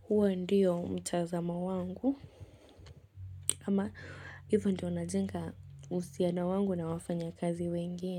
Huo ndiyo mtazamo wangu ama hivyo ndio najenga uhusiano wangu na wafanya kazi wengine.